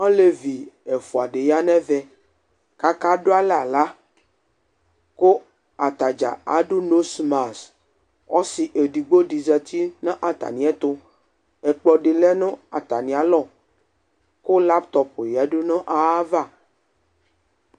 Alevi ɛfʋa ɖɩ ƴa nʋ ɛvɛ, aƙaɖʋalɛ aɣla ƙʋ ataɖza aɖʋ nosmasƆsɩ eɖigbo ɖɩ zati nʋ atamɩɛtʋƐƙplɔ ɖɩ lɛ nʋ atamɩalɔ ƙʋ latɔp ƴǝdu nʋ aƴava